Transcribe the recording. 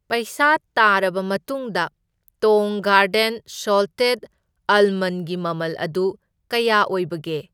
ꯄꯩꯁꯥ ꯇꯥꯔꯕ ꯃꯇꯨꯡꯗ ꯇꯣꯡ ꯒꯥꯔꯗꯦꯟ ꯁꯣꯜꯇꯦꯗ ꯑꯥꯜꯃꯟꯒꯤ ꯃꯃꯜ ꯑꯗꯨ ꯀꯌꯥ ꯑꯣꯢꯕꯒꯦ?